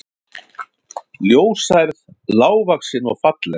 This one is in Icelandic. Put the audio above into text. Ljóshærð, lágvaxin og falleg